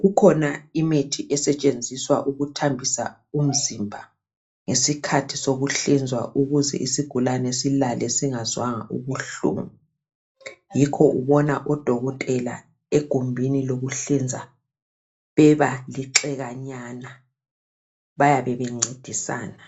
Kukhona imithi esetshenziswa ukuthambisa umzimba ngeskhathi sokuhlinzwa ukuze isigulane silale singazange sezwa ubuhlungu, yikho ubona odokotela egumbini lokuhlinza beba lixikanyana ,bayabe bencedisana